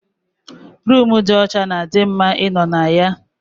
Roomu dị ọcha na di mma ịnọ na ya